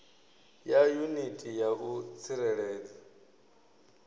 ya yuniti ya u tsireledza